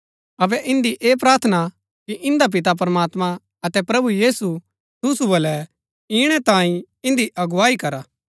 अबै इन्दी ऐह प्रार्थना हा कि इन्दा पिता प्रमात्मां अतै प्रभु यीशु तुसु बल्लै इणै तांई इन्दी अगुवाई करा